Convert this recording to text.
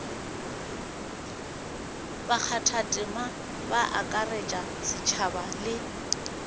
bakgathatema ba akaretša setšhaba le